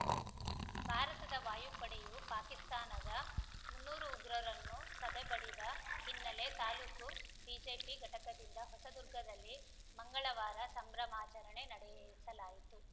ಭಾರತದ ವಾಯುಪಡೆಯು ಪಾಕಿಸ್ತಾನದ ಮುನ್ನೂರು ಉಗ್ರರನ್ನು ಸದೆಬಡಿದ ಹಿನ್ನೆಲೆ ತಾಲೂಕು ಬಿಜೆಪಿ ಘಟಕದದಿಂದ ಹೊಸದುರ್ಗದಲ್ಲಿ ಮಂಗಳವಾರ ಸಂಭ್ರಮಾಚರಣೆ ನಡೆಸಲಾಯಿತು